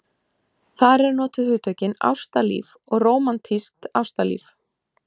Þar eru notuð hugtökin ástalíf og rómantískt ástalíf.